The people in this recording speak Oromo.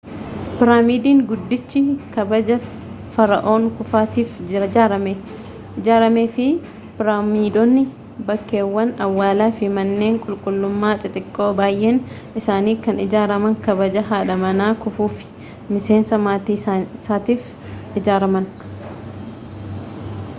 piraamiidiin guddichi kabaja fara'oon kuufuutiif ijaarame fi piraamiidonni bakkeewwan awwaalaa fi manneen qulqullummaa xixiqqoo baay'een isaanii kan ijaaraman kabaja haadha manaa kufuu fi miseensa maatii isaatiif ijaaraman